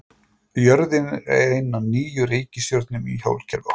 Jörðin er ein af níu reikistjörnum í sólkerfi okkar.